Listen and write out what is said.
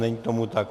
Není tomu tak.